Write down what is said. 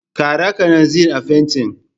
Ƙara kananzir a fentin.